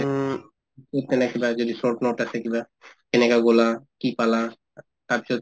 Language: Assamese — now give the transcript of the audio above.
কিবা যদি short note আছে কিবা কেনেকা গলা কি পালা তাৰপিছত